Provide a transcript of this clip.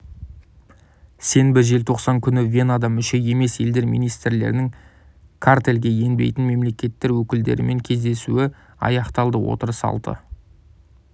сенбі желтоқсан күні венада мүше емес елдер министрлерінің картельге енбейтін мемлекеттер өкілдерімен кездесуі аяқталды отырыс алты